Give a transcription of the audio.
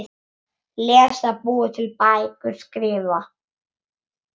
Lesa- búa til bækur- skrifa